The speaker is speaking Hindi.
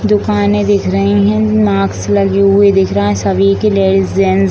दुकाने दिख रहे है मास्क लगे हुए दिख रहे है सभी के लेडिस जेंट्स --